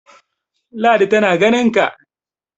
ladi tana ganinka!